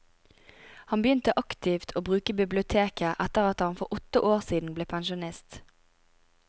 Han begynte aktivt å bruke biblioteket etter at han for åtte år siden ble pensjonist.